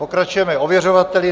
Pokračujeme ověřovateli.